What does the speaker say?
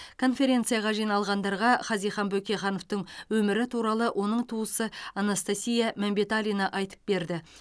конференцияға жиналғандарға хазихан бөкейхановтың өмірі туралы оның туысы анастасия мәмбеталина айтып берді